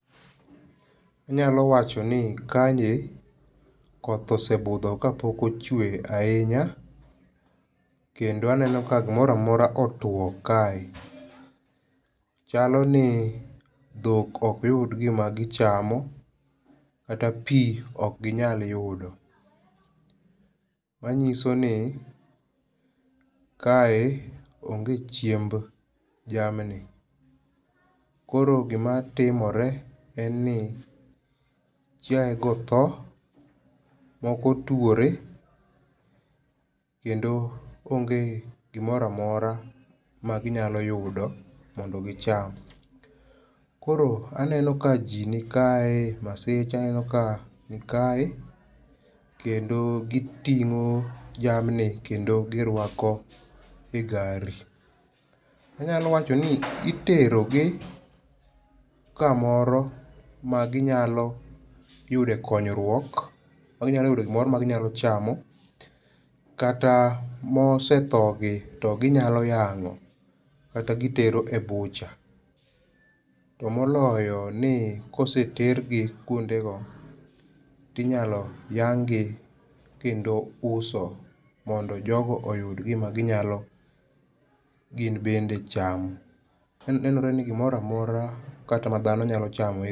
Anyalo wacho ni kae, koth osebudho ka pok ochwe ahinya. Kendo aneno ka gimoro amora otwo kae. Chaloni dhok okyud gima gichamo kata pi okginyal yudo. Manyiso ni kae onge chiemb jamni. Koro gimatimore en ni chiae go tho, moko twore, kendo onge gimoro amora ma ginyalo yudo mondo gicham. Koro aneno ka ji nikae, Maseche aneno ka nikae, kendo gitingó jamni kendo girwako e gari. Anyalo wacho ni itero gi kamoro, ma ginyalo yude konyruok. Ma ginyalo yude gimoro ma ginyalo chamo. Kata mosethogi to ginyalo yangó, kata gitero e butcher. To moloyo ni kosetergi kuondego tinyalo yang'gi kendo uso mondo jogo oyud gima ginyalo gin bende chamo. Nenore ni gimoro amora kata ma dhano nyalo chamo